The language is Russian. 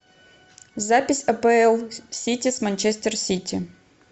запись апл сити с манчестер сити